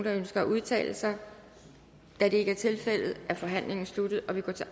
ønsker at udtale sig da det ikke er tilfældet er forhandlingen sluttet og vi går til